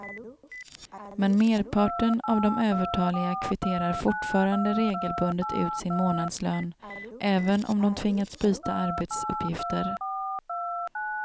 Men merparten av de övertaliga kvitterar fortfarande regelbundet ut sin månadslön, även om de tvingats byta arbetsuppgifter.